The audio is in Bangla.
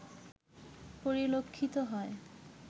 পরিলক্ষিত হয়